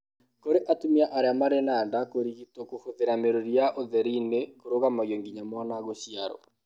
Kũrĩ atumia arĩa marĩ na nda, kũrigitwo kũhũthĩra mĩrũri ya ũtheri nĩ kũrũgamagio nginya mwana gũciarũo.